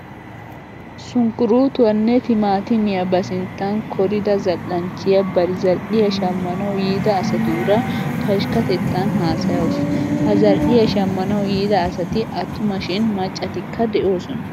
Sunkkuruutuwanne timaattimiya ba sinttan korida zal"anchchiya bari zal"iya shammanawu yiida asatuura pashkkatettan haasayawusu. Ha zal"iya shammanawu yiida asati attuma shin macvatikka de'oosona.